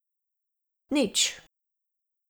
Nič.